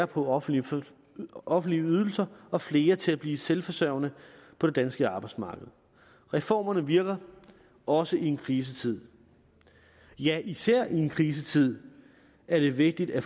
på offentlige offentlige ydelser og flere til at blive selvforsørgende på det danske arbejdsmarked reformerne virker også i en krisetid ja især i en krisetid er det vigtigt at